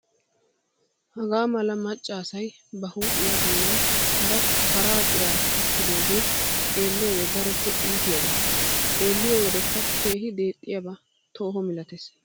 Hagaa mala macca asayi ba huuphphiyaa bollan hara paraa ciraa tokkidooge xeelliyoodee daroppe iitiyaaba. Xeelliyoo wodekka keehi deexxiyaaba tooho malates.